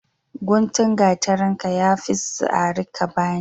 Guntun gatarinka yafi tsare ka bani.